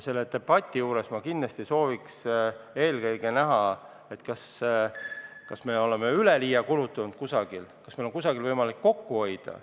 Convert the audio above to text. Sellel debatil ma kindlasti soovin, et eelkõige arutataks, kas me oleme kusagil üleliia kulutanud, kas meil on võimalik kusagil kokku hoida.